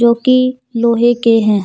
की लोहे के हैं।